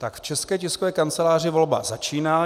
V České tiskové kanceláři volba začíná.